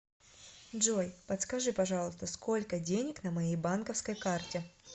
джой подскажи пожалуйста сколько денег на моей банковской карте